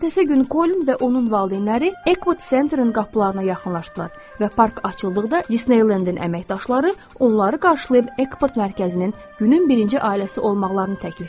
Ertəsi günü Kolin və onun valideynləri Epcot Centerin qapılarına yaxınlaşdılar və park açıldıqda Disneyland-in əməkdaşları onları qarşılayıb Epcot mərkəzinin günün birinci ailəsi olmağını təklif etdilər.